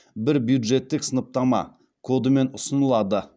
бір бюджеттік сыныптама кодымен ұсынылады